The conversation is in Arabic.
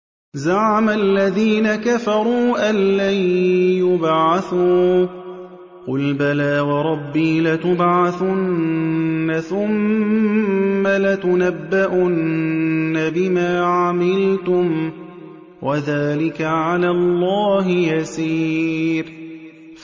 زَعَمَ الَّذِينَ كَفَرُوا أَن لَّن يُبْعَثُوا ۚ قُلْ بَلَىٰ وَرَبِّي لَتُبْعَثُنَّ ثُمَّ لَتُنَبَّؤُنَّ بِمَا عَمِلْتُمْ ۚ وَذَٰلِكَ عَلَى اللَّهِ يَسِيرٌ